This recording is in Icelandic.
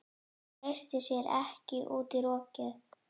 Hann treysti sér ekki út í rokið.